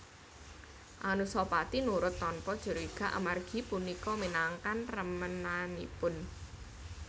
Anusapati nurut tanpa curiga amargi punika minangkan remenanipun